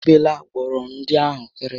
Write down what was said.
E bela gbọrọndị ahụ kịrịkịrị